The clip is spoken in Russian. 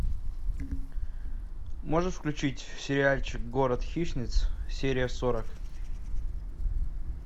можешь включить сериальчик город хищниц серия сорок